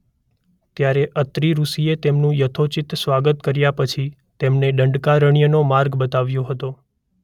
ત્યારે અત્રિ ઋષિએ તેમનું યથોચિત સ્વાગત કર્યા પછી તેમને દંડકારણ્યનો માર્ગ બતાવ્યો હતો.